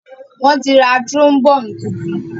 Wón tí rá trombone títun.